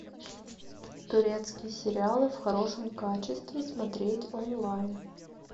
турецкие сериалы в хорошем качестве смотреть онлайн